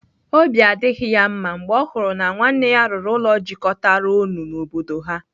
Obi adịghị ya mma mgbe ọ hụrụ na nwanne ya rụrụ ụlọ jikọtara ọnụ n'obodo ha.